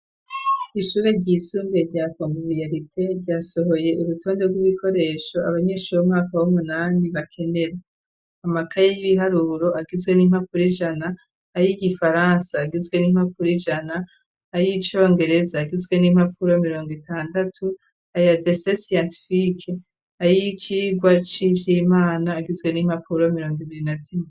Ishure ryisumbuye rya Konvybiyarite, ryasohoye urutonde rw'ibikoresho abanyeshure bo mumwaka w'umunani bakenera: amakaye y'ibiharuro agizwe n'impapuro ijana, ay'igifaransa agizwe n'impapuro ijana, ay'icongereza agizwe n'impapuro mirongo itandatu, ayo gucapa gifundi, ay'icigwa c'ivy'Imana agizwe n'impapuro mirongo ibiri na zine.